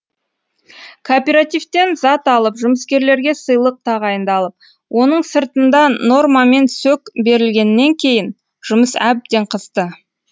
кооперативтен зат алып жұмыскерлерге сыйлық тағайындалып оның сыртында нормамен сөк берілгеннен кейін жұмыс әбден қызды